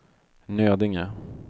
Nödinge